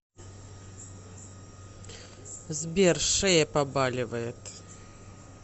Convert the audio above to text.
сбер шея побаливает